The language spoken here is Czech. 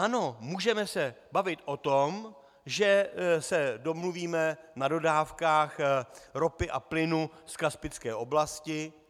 Ano, můžeme se bavit o tom, že se domluvíme na dodávkách ropy a plynu z kaspické oblasti.